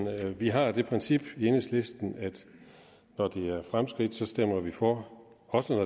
vi har det princip i enhedslisten at når det er fremskridt stemmer vi for også